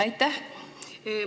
Aitäh!